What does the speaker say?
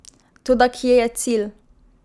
Toda kje je cilj?